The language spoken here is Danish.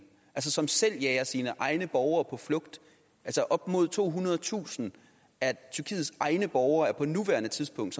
som selv jager sine egne borgere på flugt op mod tohundredetusind af tyrkiets egne borgere er på nuværende tidspunkt